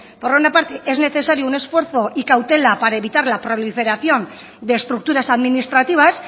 por una parte es necesario un esfuerzo y cautela para evitar la proliferación de estructuras administrativas